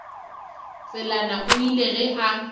tselane o ile ge a